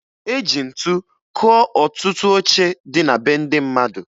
E ji ntu kụọ ọtụtụ oche dị na be ndị mmadụ